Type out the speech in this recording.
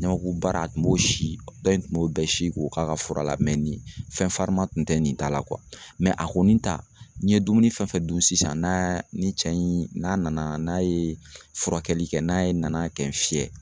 Ɲamakubara a kun b'o si dɔ in kun b'o bɛɛ si k'o k'a ka fura la nin fɛn farima kun tɛ nin ta la a kɔni ta n'i ye dumuni fɛn fɛn dun sisan n'aa ni cɛ in n'a nana n'a ye furakɛli kɛ n'a ye nana kɛ fiɲɛ